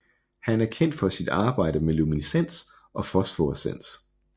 Han er kendt for sit arbejde med luminescens og Fosforescens